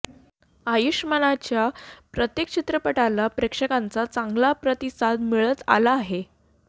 आयुष्मानच्या प्रत्येक चित्रपटाला प्रेक्षकांच्या चांगला प्रतिसाद मिळत आला आहे